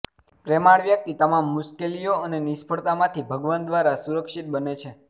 પ્રેમાળ વ્યક્તિ તમામ મુશ્કેલીઓ અને નિષ્ફળતા માંથી ભગવાન દ્વારા સુરક્ષિત બને છે